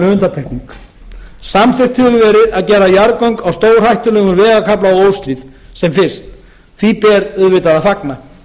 undantekning samþykkt hefur verið að gera jarðgöng á stórhættulegum vegarkafla á óshlíð sem fyrst því ber auðvitað að fagna